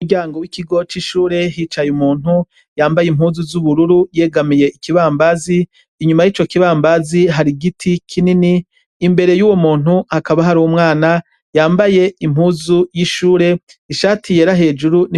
Umuryango wikigo cishure hicaye umuntu yambaye impuzu zubururu yegamiye ikibambazi inyuma yico kibambazi hari igiti kinini imbere yuwo. muntu hakaba hari umwana yambaye impuzu zishure ishati yera